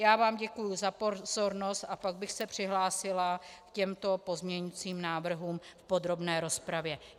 Já vám děkuji za pozornost a pak bych se přihlásila k těmto pozměňovacím návrhům v podrobné rozpravě.